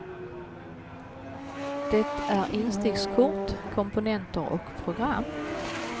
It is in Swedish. Det är instickskort, komponenter och program.